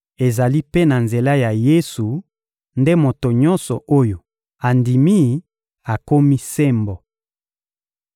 Ezali mpe na nzela ya Yesu nde moto nyonso oyo andimi akomi sembo.